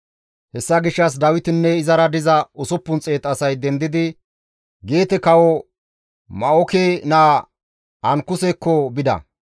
Hessa gishshas Dawitinne izara diza 600 asay dendidi Geete kawo Ma7oke naa Ankusekko bida.